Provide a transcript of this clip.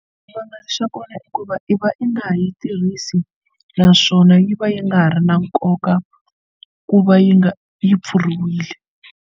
Xivangelo xa kona i ku va i va i nga yi tirhisi naswona yi va yi nga ha ri na nkoka ku va yi nga yi pfuriwile.